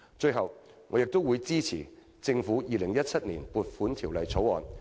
最後，我會支持政府的《2017年撥款條例草案》。